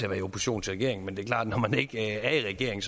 at være i opposition til regeringen men det er klart at når man ikke er i regering